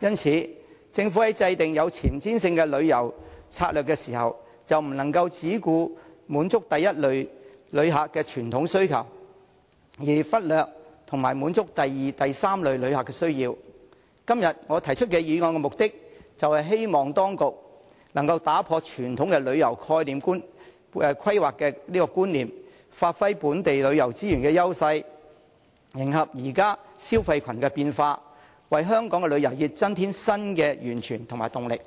因此，政府在制訂具前瞻性的旅遊策略時，不能只顧滿足第一類遊客的傳統需求，而忽略滿足第二及三類遊客的需要。今天我提出這項議案，是希望當局能夠打破傳統旅遊規劃的觀念，發揮本地旅遊資源的優勢，迎合現時消費群的變化，為香港旅遊業增添新的源泉和動力。